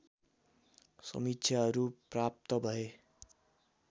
समीक्षाहरू प्राप्त भए